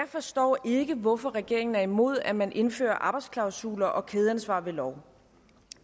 forstår hvorfor regeringen er imod at man indfører arbejdsklausuler og kædeansvar ved lov